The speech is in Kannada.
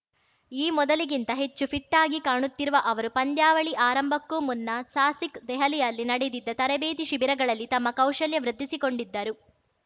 ಈ ಮೊದಲಿಗಿಂತ ಹೆಚ್ಚು ಫಿಟ್‌ ಆಗಿ ಕಾಣುತ್ತಿರುವ ಅವರು ಪಂದ್ಯಾವಳಿ ಆರಂಭಕ್ಕೂ ಮುನ್ನ ಸಾಸಿಕ್‌ ದೆಹಲಿಯಲ್ಲಿ ನಡೆದಿದ್ದ ತರಬೇತಿ ಶಿಬಿರಗಳಲ್ಲಿ ತಮ್ಮ ಕೌಶಲ್ಯ ವೃದ್ಧಿಸಿಕೊಂಡಿದ್ದರು